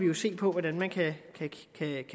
jo se på hvordan man kan